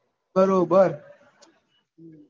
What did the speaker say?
બરોબર